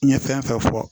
N ye fɛn fɛn fɔ